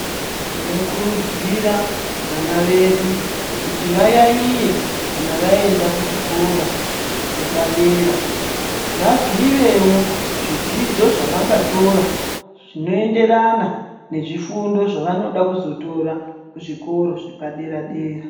Tinokurudzira vana vedu kuti vayayiye kana vaenda kuzvikora zvepadera kuti vazivewo zvidzidzo zvavangatora zvinoenderana ngezvifundo zvavanoda kuzotora kuzvikoro zvepadera dera.